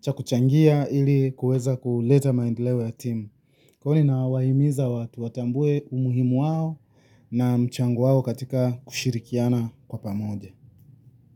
cha kuchangia ili kuweza kuleta maendeleo ya timu. Kwani nawahimiza watambue umuhimu wao na mchango wao katika kushirikiana kwa pamoja.